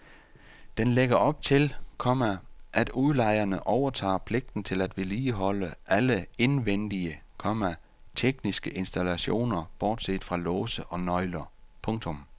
Den lægger op til, komma at udlejerne overtager pligten til at vedligeholde alle indvendige, komma tekniske installationer bortset fra låse og nøgler. punktum